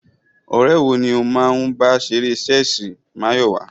Ọ̀rẹ́ wo ni ó máa ń bá ṣeré ṣẹ́ẹ̀sì, Máyọ̀wá?